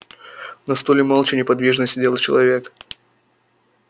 на стуле молча неподвижно сидел человек